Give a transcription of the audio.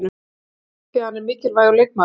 Það er leiðinlegt því hann er mikilvægur leikmaður.